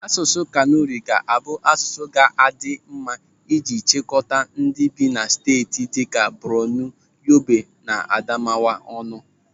Asụsụ Kanuri ga-abụ asụsụ ga-adị mma iji chịkọta ndị bi na steeti dịka Bornu, Yobe na Adamawa ọnụ.